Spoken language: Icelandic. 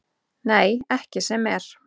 Nei, ekki sem er.